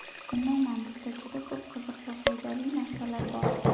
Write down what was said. Umuman bizda juda ko‘p qiziq va foydali narsalar bor!